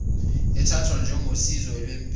ethathwa njengosizo lwempesheni